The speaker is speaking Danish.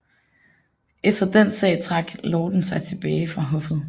Efter den sag trak lorden sig tilbage fra hoffet